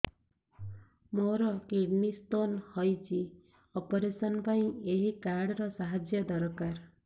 ମୋର kidney stone ହଇଛି operation ପାଇଁ ଏହି କାର୍ଡ ର ସାହାଯ୍ୟ ଦରକାର